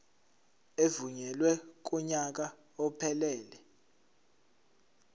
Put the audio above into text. evunyelwe kunyaka ophelele